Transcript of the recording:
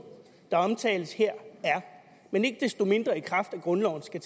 der omtales her er men ikke desto mindre i kraft af grundloven skal